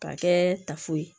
K'a kɛ tafo ye